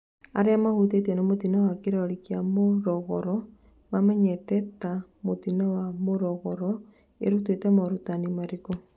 Arĩa mahutĩtio nĩ mũtino wa kĩlori kĩa Morogoro mamenyete ta mũtino wa Morogoro, ĩrutĩte morutani marĩkũ?